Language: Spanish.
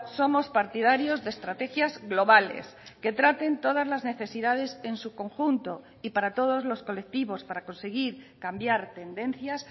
somos partidarios de estrategias globales que traten todas las necesidades en su conjunto y para todos los colectivos para conseguir cambiar tendencias